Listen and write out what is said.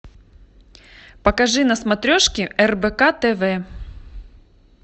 покажи на смотрешке рбк тв